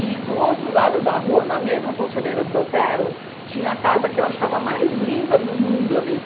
E, do outro lado da rua, na mesma Conselheiro Brotero, tinha a casa que eu achava a mais linda do mundo ali